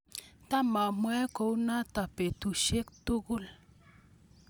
Tamamwoe kunatok betusiek tugul.